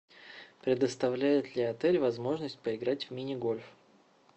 предоставляет ли отель возможность поиграть в мини гольф